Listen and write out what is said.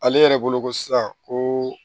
Ale yɛrɛ bolo ko sisan ko